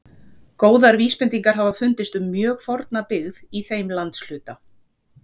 Góðar vísbendingar hafa fundist um mjög forna byggð í þeim landshluta.